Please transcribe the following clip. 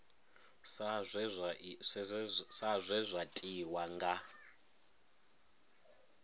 sa zwe zwa tiwa nga